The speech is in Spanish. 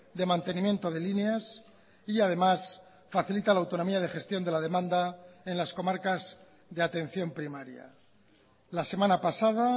de mantenimiento de líneas y además facilita la autonomía de gestión de la demanda en las comarcas de atención primaria la semana pasada